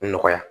Nɔgɔya